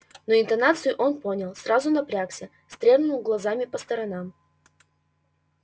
но интонацию он понял сразу напрягся стрельнул глазами по сторонам